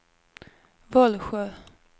Vollsjö